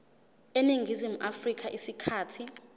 eningizimu afrika isikhathi